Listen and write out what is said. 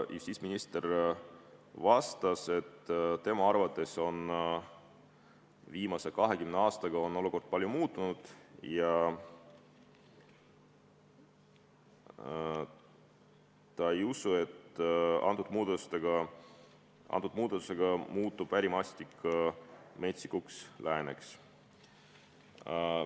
Justiitsminister vastas, et tema arvates on viimase 20 aastaga olukord palju muutunud ja ta ei usu, et antud muudatuse tõttu muutub ärimaastik Metsikuks Lääneks.